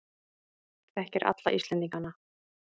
Þekkir alla Íslendingana.